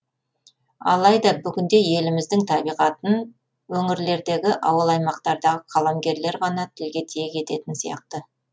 алайда бүгінде еліміздің табиғатын өңірлердегі ауыл аймақтардағы қаламгерлер ғана тілге тиек ететін сияқты